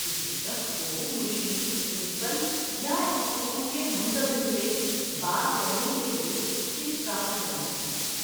کسی شخص کو مشیر، پرنسپل، یا اسکول کے منتظم سے بات کرنے کے لیے اس کے ساتھ جانا چاہیے۔